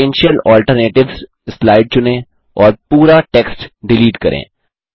potential alternatives slide चुनें और पूरा टेक्स्ट डिलीट करें